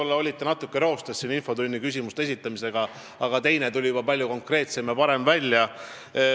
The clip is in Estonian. Te olite vist alguses infotunni küsimuse esitamisel natuke roostes, aga teine tuli juba palju konkreetsemalt ja paremini välja.